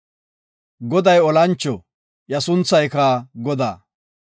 Goday olancho; iya sunthayka Godaa.